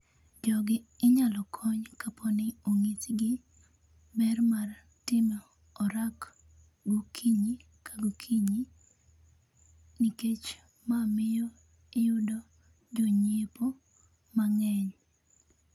jogi inyalo kony kaponi onyisgi ber mar timo orak okinyi ka gokinyi nikech ma miyo iyudo jonyiepo mang'eny.